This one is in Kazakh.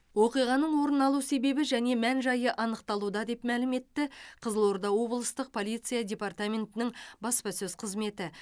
оқиғаның орын алу себебі және мән жайы анықталуда деп мәлім етті қызылорда облыстық полиция департаментінің баспасөз қызметі